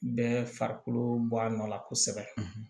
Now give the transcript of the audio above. Bɛɛ farikolo bɔ a nɔ la kosɛbɛ